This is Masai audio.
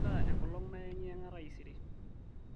kaita enkolong naengiyanga taisere